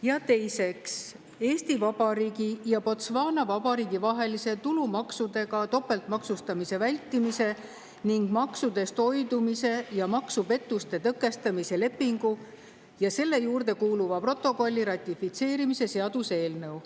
Ja teiseks, Eesti Vabariigi ja Botswana Vabariigi vahelise tulumaksudega topeltmaksustamise vältimise ning maksudest hoidumise ja maksupettuste tõkestamise lepingu ja selle juurde kuuluva protokolli ratifitseerimise seaduse eelnõu.